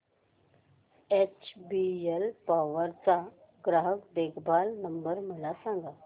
HBL power चा ग्राहक देखभाल नंबर मला सांगा